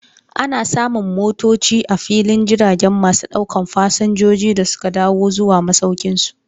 Ana samun motoci a filin jiragen masu daukan Fasinjoji da suka dawo zuwa masaukinsu.